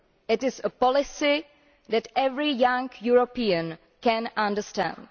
It is a policy that every young European can understand.